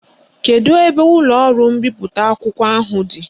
Kedu ebe ụlọọrụ mbipụta akwụkwọ ahụ dị?